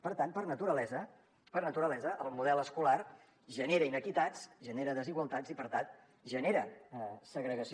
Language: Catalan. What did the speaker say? per tant per naturalesa per naturalesa el model escolar genera inequitats genera desigualtats i per tant genera segregació